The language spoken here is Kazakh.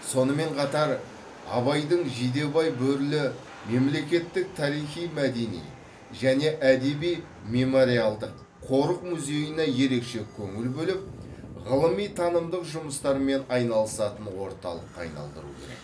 сонымен қатар абайдың жидебай бөрілі мемлекеттік тарихи мәдени және әдеби мемориалдық қорық музейіне ерекше көңіл бөліп ғылыми танымдық жұмыстармен айналысатын орталыққа айналдыру керек